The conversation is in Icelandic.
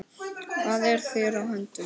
Hvað er þér á höndum?